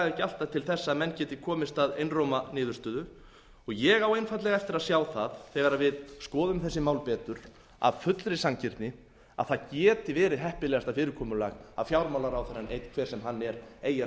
ekki alltaf til þess að menn geti komist að einróma niðurstöðu ég á einfaldlega eftir að sjá það þegar við skoðum þessi mál betur af fullri sanngirni að það geti verið heppilegasta fyrirkomulag að fjármálaráðherrann einn hver sem hann er eigi að